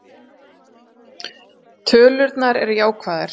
Tölurnar eru jákvæðar